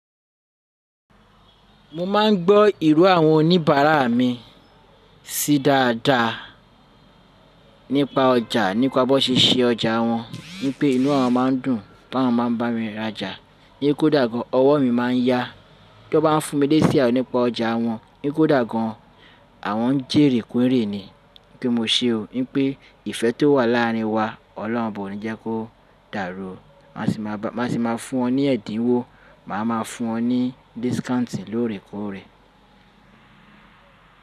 Mo máà ń gbọ́ ìró àwọn oníbàárà mi sí dáadáa nípa ọjà, nípa bó ṣe ṣe ọjà wọn. Wípé inú awọn máa ń dùn pe àwọn máa ń bá mi rajà. Pe kódà gan an ọwọ́ mi máa ń yá tó bá fún mi leesí ayo àwọn nípa ọjà wọn. Pe kódà gan an àwọn ń jèrè kún èrè ni. Pé mo ṣe o. Nípé ìfẹ́ tó wà láàrin wa Ọlọ́run Oba o ni jẹ́ kó dàrú o. Máa sì máa fún ọ ní ẹ̀dínwó, màá máa fún ọ ní discount lóòrèkóòrè.